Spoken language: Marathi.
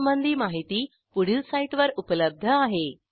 यासंबंधी माहिती पुढील साईटवर उपलब्ध आहे